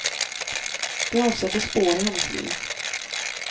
De avsätter spår i hennes liv.